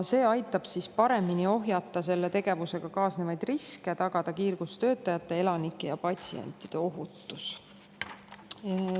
See aitab paremini ohjata selle tegevusega kaasnevaid riske, tagada kiirgustöötajate, elanike ja patsientide ohutus.